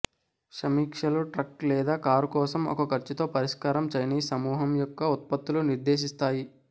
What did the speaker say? సమీక్షలు ట్రక్ లేదా కారు కోసం ఒక ఖర్చుతో పరిష్కారం చైనీస్ సమూహం యొక్క ఉత్పత్తులు నిర్దేశిస్తాయి